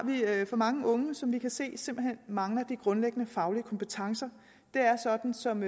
vi for mange unge som vi kan se simpelt hen mangler de grundlæggende faglige kompetencer det er sådan som